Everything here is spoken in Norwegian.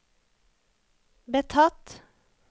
betatt